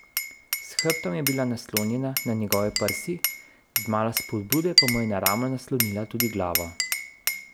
S hrbtom je bila naslonjena na njegove prsi, z malo spodbude pa mu je na ramo naslonila tudi glavo.